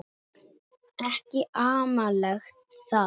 Ekki amalegt það.